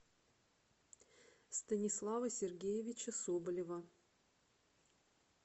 станислава сергеевича соболева